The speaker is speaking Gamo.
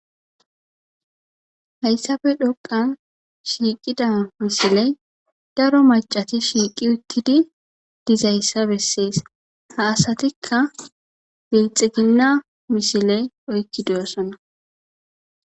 hayssafe dhoqan shiiqida misiley daro macati shiiqi uttidi dizayssa bessees ha asatikka bilxiginna misile oykki doyossana